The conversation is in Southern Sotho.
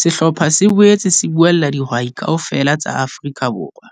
Sehlopha se boetse se buella dihwai KAOFELA tsa Afrika Borwa.